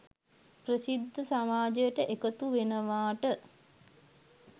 ප්‍රසිද්ධ සමාජයට එකතු වෙනවාට